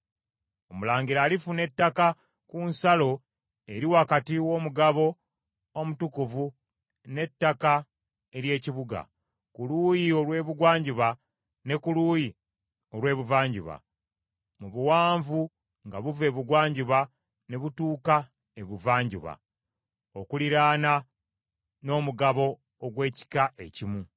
“ ‘Omulangira alifuna ettaka ku nsalo eri wakati w’omugabo omutukuvu n’ettaka ery’ekibuga, ku luuyi olw’Ebugwanjuba ne ku luuyi olw’ebuvanjuba, mu buwanvu nga buva Ebugwanjuba ne butuuka Ebuvanjuba okuliraana n’omugabo ogw’ekika ekimu.